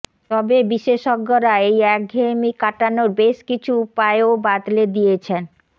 তবে বিশেষজ্ঞরা এই একঘেঁয়েমি কাটানোর বেশ কিছু উপায়ও বাতলে দিয়েছেন